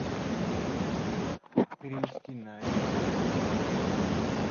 перевести на счет другому клиенту